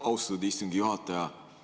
Austatud istungi juhataja!